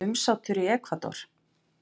Umsátur í Ekvador